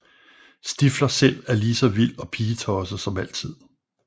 Stifler selv er lige så vild og pigetosset som altid